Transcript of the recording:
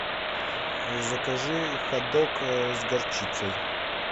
закажи хот дог с горчицей